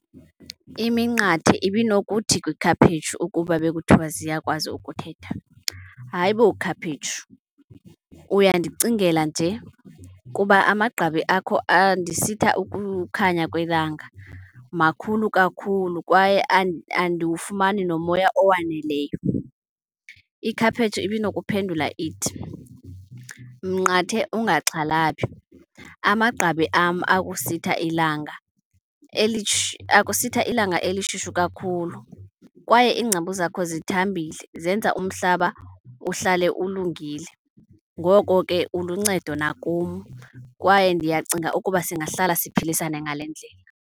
Iminqathe ibinokuthi kwikhaphetshu ukuba bekuthiwa ziyakwazi ukuthetha, hayi bo khaphetshu, uyandicingela nje kuba amagqabi akho andisitha ukukhanya kwelanga. Makhulu kakhulu kwaye andiwufumani nomoya owaneleyo. Ikhaphetshu ibinokuphendula ithi, mnqathe, ungaxhalabi amagqabi am akusitha ilanga , akusitha ilanga elishushu kakhulu kwaye iingcambu zakho zithambile zenza umhlaba uhlale ulungile. Ngoko ke uluncedo nakum kwaye ndiyacinga ukuba singahlala siphilisane ngale ndlela.